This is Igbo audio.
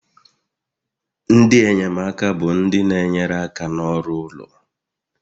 Ndị enyemaka bụ ndị na-enyere aka n'ọrụ ụlọ